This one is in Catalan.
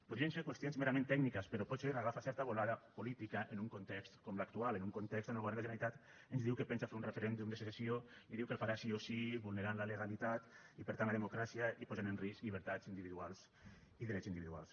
podrien ser qüestions merament tècniques però potser agafen certa volada política en un context com l’actual en un context on el govern de la generalitat ens diu que pensa fer un referèndum de secessió i diu que el farà sí o sí vulnerant la legalitat i per tant la democràcia i posant en risc llibertats individuals i drets individuals